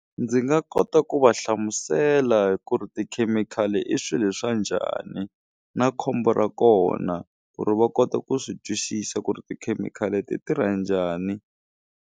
Ndzi nga kota ku va hlamusela ku ri tikhemikhali i swilo swa njhani na khombo ra kona ku ri va kota ku swi twisisa ku ri tikhemikhali ti tirha njhani.